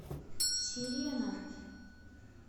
сирена